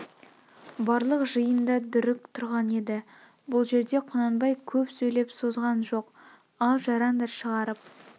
барлық жиын да дүрік тұрған еді бұл жерде құнанбай көп сөйлеп созған жоқ ал жарандар шығарып